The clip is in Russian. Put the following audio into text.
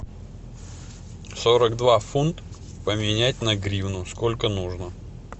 сорок два фунта поменять на гривну сколько нужно